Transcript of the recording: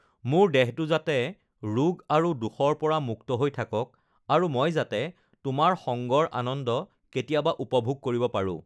মোৰ দেহটো যাতে ৰোগ আৰু দোষৰ পৰা মুক্ত হৈ থাকক আৰু মই যাতে তোমাৰ সংগৰ আনন্দ কেতিয়াবা উপভোগ কৰিব পাৰো!